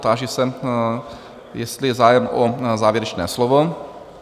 Táži se, jestli je zájem o závěrečné slovo?